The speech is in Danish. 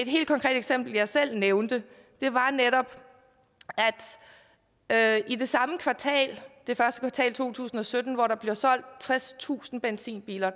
helt konkret eksempel jeg selv nævnte var netop at i det samme kvartal første kvartal to tusind og sytten hvor der blev solgt tredstusind benzinbiler